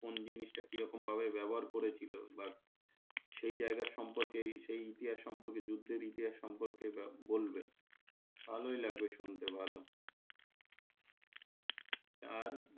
কোন জিনিসটা কি রকমভাবে ব্যবহার করেছিল বা সেই জায়গার সম্পর্কে সেই ইতিহাস সম্পর্কে যুদ্ধের ইতিহাস সম্পর্কে বলবে ভালোই লাগবে শুনতে ভালো আর,